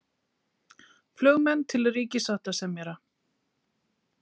Flugmenn til ríkissáttasemjara